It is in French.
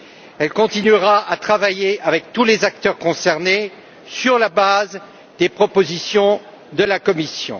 Elle continuera à travailler avec tous les acteurs concernés sur la base des propositions de la Commission.